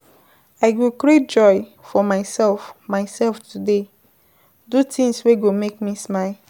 I go create joy for myself myself today, do tins wey go make me smile.